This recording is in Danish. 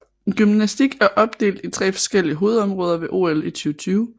Gymnastik er opdelt i tre forskellige hovedområder ved OL i 2020